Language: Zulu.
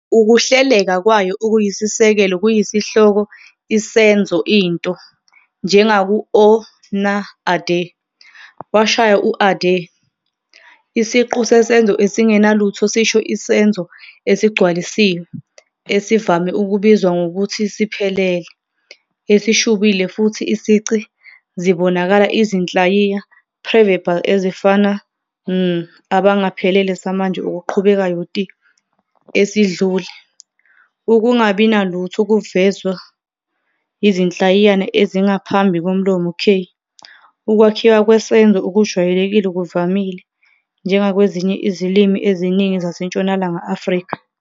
Ukuhleleka kwayo okuyisisekelo kuyisihloko-isenzo-into, njengaku- "ó nà Adé" 'washaya u-Adé'. Isiqu sesenzo esingenalutho sisho isenzo esigcwalisiwe, esivame ukubizwa ngokuthi siphelele, esishubile futhi isici zibonakala izinhlayiya preverbal ezifana "n" 'abangaphelele, samanje okuqhubekayo', "ti" 'esidlule. FddvcasxsUkungabi nalutho "kuvezwa yizinhlayiyana ezingaphambi komlomo k. "Ukwakhiwa kwesenzo okujwayelekile kuvamile, njengakwezinye izilimi eziningi zaseNtshonalanga Afrika.